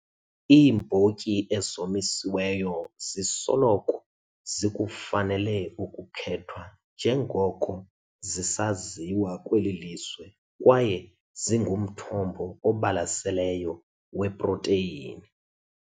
Iimbotyi ezomisiweyo zisoloko zikufanele ukukhethwa njengoko zisaziwa kweli lizwe kwaye zingumthombo obalaseleyo weprotheyini.